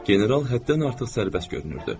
General həddən artıq sərbəst görünürdü.